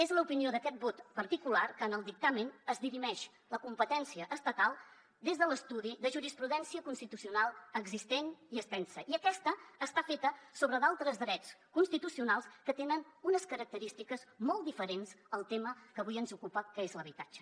és l’opinió d’aquest vot particular que en el dictamen es dirimeix la competència estatal des de l’estudi de jurisprudència constitucional existent i extensa i aquesta està feta sobre d’altres drets constitucionals que tenen unes característiques molt diferents al tema que avui ens ocupa que és l’habitatge